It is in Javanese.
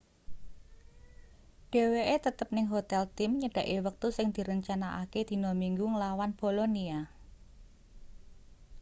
dheweke tetep ning hotel tim nyedhaki wektu sing direncanakake dina minggu nglawan bolonia